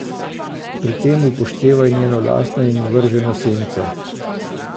Pri tem upoštevaj njeno lastno in vrženo senco.